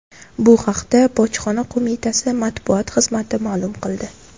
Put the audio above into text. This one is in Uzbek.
Bu haqda Bojxona qo‘mitasi matbuot xizmati ma’lum qildi .